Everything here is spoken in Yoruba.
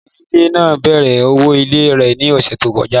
Obìnrin onílé náà bèèrè owó ilé rẹ̀ ní ọ̀ṣẹ̀ tí ó kọjá.